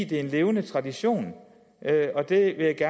det er en levende tradition og det